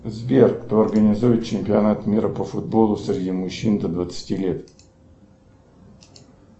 сбер кто организует чемпионат мира по футболу среди мужчин до двадцати лет